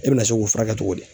E bɛ na se k'o furakɛ togo di?